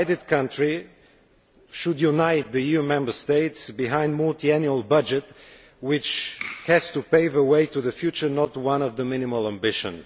A divided country should unite the EU Member States behind the multiannual budget, which has to pave the way to the future no small ambition.